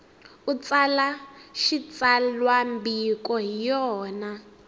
u tsala xitsalwambiko hi yona